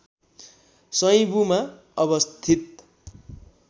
सैँबुमा अवस्थित